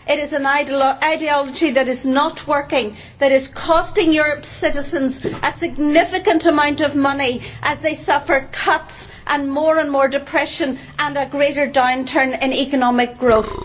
It is an ideology that is not working and that is costing Europe's citizens a significant amount of money as they suffer cuts and more and more depression and a greater downturn in economic growth.